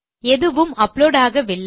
எதுவும் அப்லோட் ஆகவில்லை